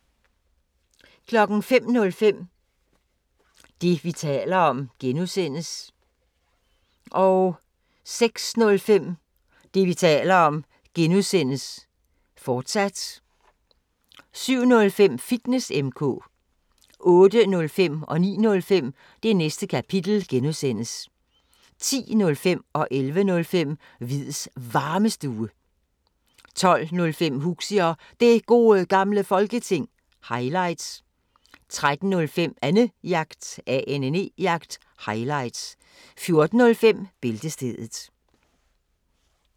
05:05: Det, vi taler om (G) 06:05: Det, vi taler om (G), fortsat 07:05: Fitness M/K 08:05: Det Næste Kapitel (G) 09:05: Det Næste Kapitel (G) 10:05: Hviids Varmestue 11:05: Hviids Varmestue 12:05: Huxi og Det Gode Gamle Folketing – highlights 13:05: Annejagt – highlights 14:05: Bæltestedet